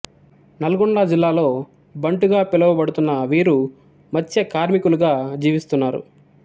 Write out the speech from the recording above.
నల్గొండ జిల్లాలో బంటు గా పిలువబడుతున్న వీరు మత్స్య కార్మికులుగా జీవిస్తున్నారు